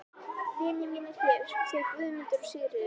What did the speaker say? Vinir mínir hér, þau Guðmundur og Sigríður.